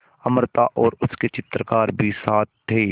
अमृता और उसके चित्रकार भी साथ थे